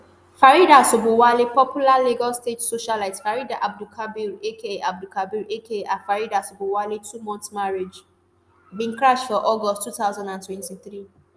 faridah sobowale popular lagos state socialite farida abdulkabir aka abdulkabir aka farida sobowale twomonth marriage bin crash for august two thousand and twenty-three